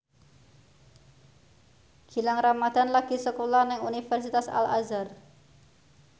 Gilang Ramadan lagi sekolah nang Universitas Al Azhar